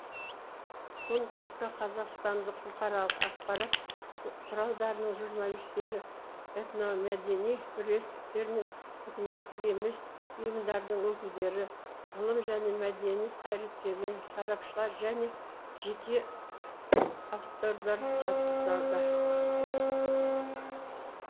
конкурсқа қазақстандық бұқаралық ақпарат құралдарының журналистері этномәдени бірлестіктер мен үкіметтік емес ұйымдардың өкілдері ғылым және мәдениет қайраткерлері сарапшылар және жеке авторлар қатысады